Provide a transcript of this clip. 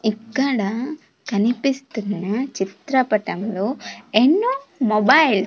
ఇక్కడ కనిపిస్తున్న చిత్రపటంలో ఎన్నో మొబైల్ --